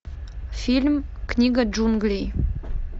фильм книга джунглей